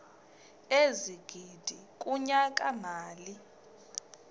ezigidi kunyaka mali